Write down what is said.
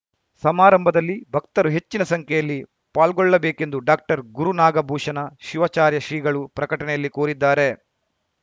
ಸಮಾರಂಭದಲ್ಲಿ ಭಕ್ತರು ಹೆಚ್ಚಿನ ಸಂಖ್ಯೆಯಲ್ಲಿ ಪಾಲ್ಗೊಳ್ಳಬೇಕೆಂದು ಡಾಕ್ಟರ್ಗುರುನಾಗಭೂಷಣ ಶಿವಾಚಾರ್ಯ ಶ್ರೀಗಳು ಪ್ರಕಟಣೆಯಲ್ಲಿ ಕೋರಿದ್ದಾರೆ